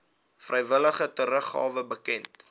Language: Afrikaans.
vrywillige teruggawe bekend